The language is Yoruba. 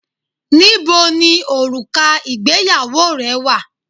Níboni òrùka ìgbéyàwó rẹ wà?